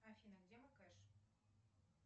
афина где моц кеш